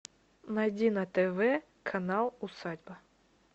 найди на тв канал усадьба